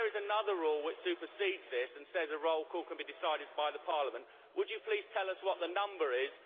If there is another rule which supersedes this and says a roll call can be decided by Parliament, would you please tell us what the number is.